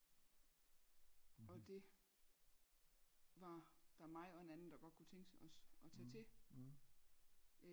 og det var der mig og en anden der godt kunne tænke os at tage til